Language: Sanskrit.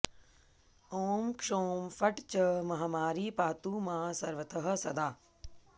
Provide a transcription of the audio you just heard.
ॐ क्षौं फट् च महामारी पातु मां सर्वतः सदा